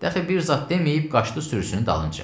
Daxı bir zad deməyib qaçdı sürüsünün dalınca.